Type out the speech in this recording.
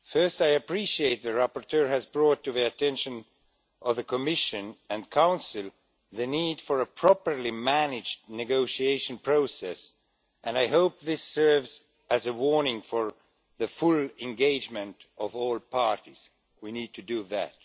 I appreciate that the rapporteur has brought to the attention of the Commission and Council the need for a properly managed negotiation process, and I hope this serves as a warning to encourage the full engagement of all parties. We need to do that.